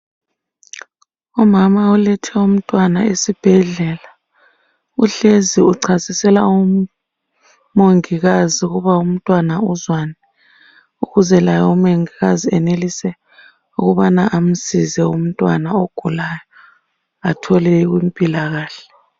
Umama ulethe umntwana esibhedlela. Uhlezi uchasisela umongikazi ukuba umntwana uzwani ukuze laye umongikazi enelise ukubana amsize umntwana ogulayo athole impilakahle.